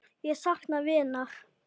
Ég sakna vinar.